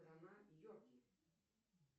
страна йорки